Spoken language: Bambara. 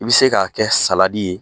I be se k'a kɛ saladi ye